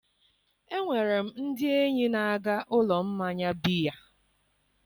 Enwere m ndị enyi na-aga ụlọ mmanya biya